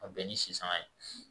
Ka bɛn ni sisanga ye